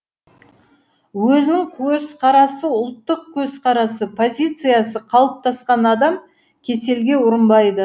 өзінің көзқарасы ұлттық көзқарасы позициясы қалыптасқан адам кеселге ұрынбайды